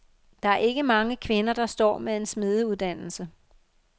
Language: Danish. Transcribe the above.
Der er ikke mange kvinder, der står med en smedeuddannelse.